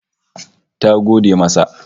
Ta gode masa